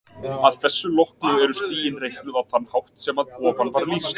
Að þessu loknu eru stigin reiknuð á þann hátt sem að ofan var lýst.